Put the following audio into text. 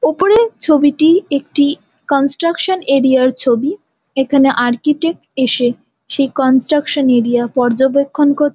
উপরের ছবিটি একটি কনস্ট্রাকশন এরিয়ার ছবি এখানে আর্চিটেক্ট এসে সেই কনস্ট্রাকশন এরিয়া পর্যবেক্ষণ কর--